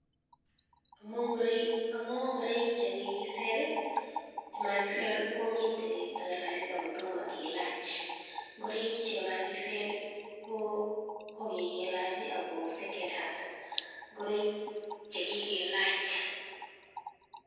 Amuu ngoroik chekikiser chemakiser komite takalkalit akotoma kelach ngoroik chemakiser ko kikelach ako secondhand ngoroik chekikelach